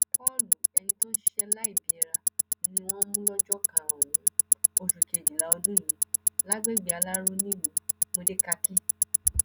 paule ẹni tó ń ṣiṣẹ lẹbìára ni wọn mú lọjọ karùnún oṣù kejìlá ọdún yìí lágbègbè alárò nílùú módékákì